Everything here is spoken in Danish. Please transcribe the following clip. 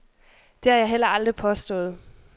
Det har jeg heller aldrig påstået.